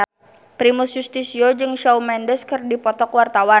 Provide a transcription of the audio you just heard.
Primus Yustisio jeung Shawn Mendes keur dipoto ku wartawan